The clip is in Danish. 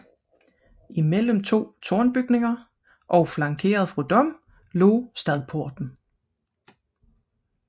Imellem to tårnbygninger og flankeret fra disse lå stadporten